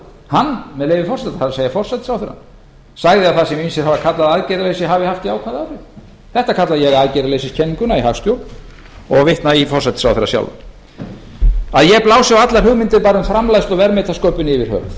hann með leyfi forseta það er forsætisráðherra sagði að það sem ýmsir hafi kallað aðgerðarleysi hefði haft jákvæð áhrif þetta kalla ég aðgerðaleysiskenninguna í hagstjórn og vitna í forsætisráðherra sjálfan að ég blási á allar hugmyndir bæði um framleiðslu og verðmætasköpun yfir höfuð